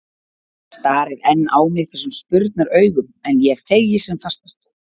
Starir enn á mig þessum spurnaraugum, en ég þegi sem fastast.